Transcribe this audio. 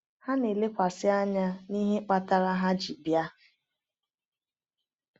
Ha na-elekwasị anya na ihe kpatara ha ji bịa.